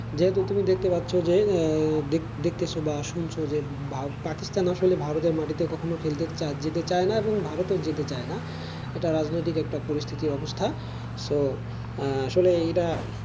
যেহেতু তুমি দেখতে পাচ্ছো যে দেখেছো বা শুনছো ভারত পাকিস্তানও আসলে ভারতের মাটিতে কখনই খেলতে যেতে চায়না এবং ভারত ও যেতে চায়না এটা রাজনৈতিক একটা পরিস্থিতির অবস্থা। so আসলে এটা,